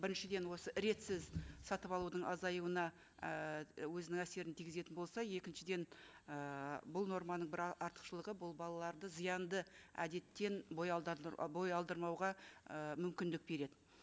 біріншіден осы ретсіз сатып алудың азаюына ыыы өзінің әсерін тигізетін болса екіншіден і бұл норманың бір артықшылығы бұл балаларды зиянды әдеттен бой алдырмауға ы мүмкіндік береді